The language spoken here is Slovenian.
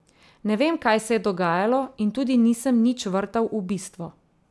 Ne vem, kaj se je dogajalo in tudi nisem nič vrtal v bistvo.